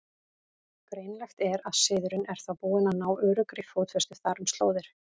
Greinilegt er, að siðurinn er þá búinn að ná öruggri fótfestu þar um slóðir.